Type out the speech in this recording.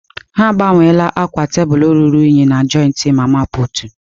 Ha agbanweela akwa tebụl ruru unyi na joịtị mama putụ̀.